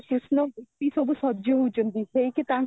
କୃଷ୍ଣ ବି ସବୁ ସଜ ହୋଉଛନ୍ତି ହେଇକି ତାଙ୍କ